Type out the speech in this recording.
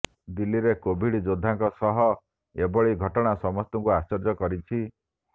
ଦିଲ୍ଲୀରେ କୋଭିଡ ଯୋଦ୍ଧାଙ୍କ ସହ ଏଭଳି ଘଟଣା ସମସ୍ତଙ୍କୁ ଆଶ୍ଚର୍ଯ୍ୟ କରିଛି